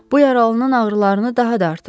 Bu yaralının ağrılarını daha da artırır.